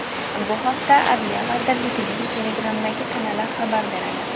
Bu haqda Adliya vazirligining Telegram’dagi kanali xabar beradi .